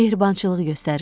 Mehribançılıq göstərirdi.